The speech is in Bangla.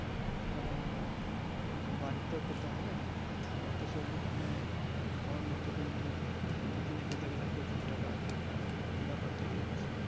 কারণ আহ বাড়িটাও খেতে হবে আর অতো সবজি কিনে খাওয়ার মতো কিন্তু মানে কিনে খেতে গেলে প্রচুর টাকার একটা ব্যাপার থেকে যাচ্ছে